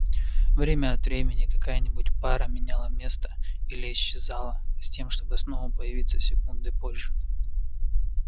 время от времени какая-нибудь пара меняла место или исчезала с тем чтобы снова появиться секундой позже